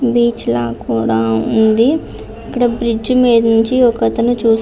Beach లాగా కూడా ఉంది. ఇక్కడ బ్రిడ్జి మీద నుంచి ఒక అతను చూస్తు --